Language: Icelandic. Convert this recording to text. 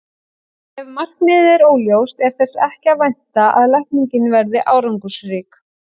Ef markmiðið er óljóst er þess ekki að vænta að lækningin verði árangursrík.